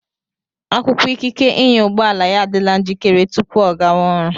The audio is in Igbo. Akwụkwọ ikike ịnya ụgbọala ya adịla njikere tupu ọ gáwá ọrụ